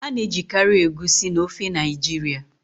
A na-ejikarị Egusi na ofe Naijiria.